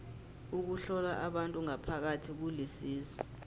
ukuhlola abantu ngaphakathi kulisizo